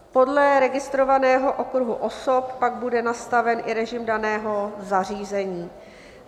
Podle registrovaného okruhu osob pak bude nastaven i režim daného zařízení.